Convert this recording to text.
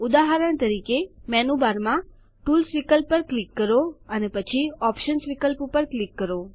ઉદાહરણ તરીકે મેનુ બારમાં ટૂલ્સ વિકલ્પ ઉપર ક્લિક કરો અને પછી ઓપ્શન્સ પર ક્લિક કરો